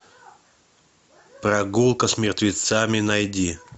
прогулка с мертвецами найди